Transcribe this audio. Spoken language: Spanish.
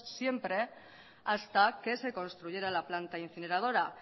siempre hasta que se construyera la planta incineradora